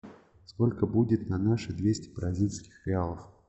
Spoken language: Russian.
сколько будет на наши двести бразильских реалов